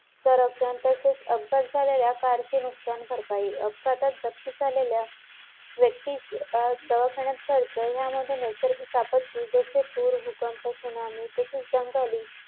त्यामुळे फक्त आपल्याला काय बघायचंय project तो कोणाचा माध्यमातून ते राबवला जाते आणि किती महिन्यापर्यंत ते पोहोचायचं एकत्र असलं ना फायदा झाला एवढ्या एकत्र लोकांचा.